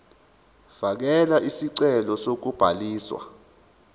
fakela isicelo sokubhaliswa